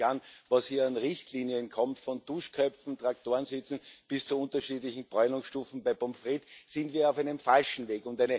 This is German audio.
Und sehen Sie sich an, was hier an Richtlinien kommt Von Duschköpfen, Traktorensitzen bis zu unterschiedlichen Bräunungsstufen bei Pommes frites da sind wir auf einem falschen Weg.